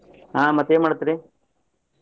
ಹಾ ಮತ್ತ್ ಏನ್ ಮಾಡಾತೇರಿ?